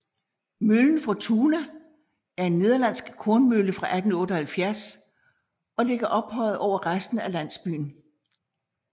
Møllen Fortuna er en nederlandsk kornmølle fra 1878 og ligger ophøjet over resten af landsbyen